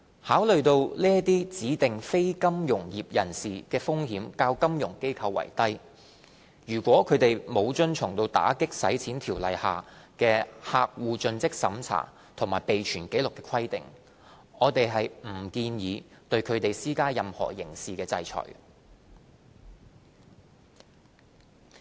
考慮到這些指定非金融業人士的風險較金融機構為低，如果他們不遵從《條例》下就客戶作盡職審查及備存紀錄的規定，我們不建議對他們施加任何刑事制裁。